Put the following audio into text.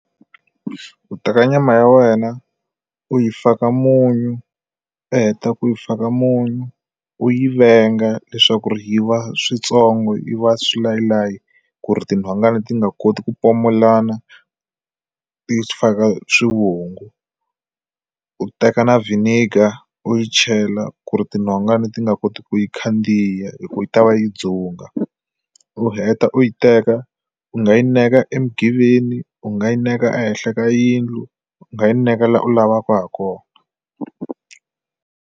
Ku teka nyama ya wena u yi faka munyu u heta ku yi faka munyu u yi venga leswaku yi va switsongo yi va swilayi layi ku ri tinhongani ti nga koti ku pfumelana ti faka swivungu u teka na vinegar u yi chela ku ri tinhonga leti nga koti ku yi khandziya hi ku yi ta va yi dzunga u heta u yi teka u nga yi neka emigiveni u nga yi neka ehenhla ka yindlu u nga yi neka laha u lavaka hakona.